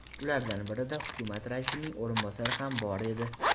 Ulardan birida hukumat raisining o‘rinbosari ham bor edi.